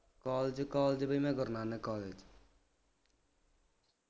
college college ਬਈ ਮੈਂ Guru Nanak college